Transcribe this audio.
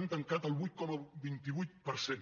han tancat el vuit coma vint vuit per cent